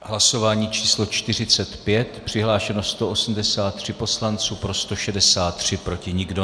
V hlasování číslo 45 přihlášeno 183 poslanců, pro 163, proti nikdo.